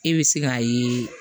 E bɛ se k'a ye